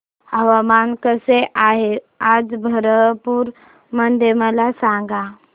हवामान कसे आहे आज बरहमपुर मध्ये मला सांगा